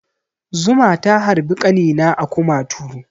Zuma ta harbi ƙanina a kumatu.